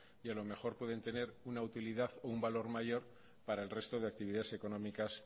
y a lo mejor pueden tener una utilidad o un valor mayor para el resto de actividades económicas